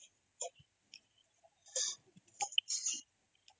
noise